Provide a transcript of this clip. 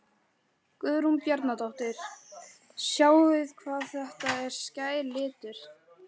Guðrún Bjarnadóttir: Sjáið hvað þetta er skær litur?